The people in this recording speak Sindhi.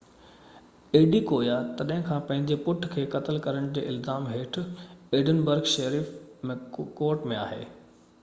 ايڊيڪويا تڏهن کان پنهنجي پٽ کي قتل ڪرڻ جي الزام هيٺ ايڊنبرگ شيرف ڪورٽ ۾ آهي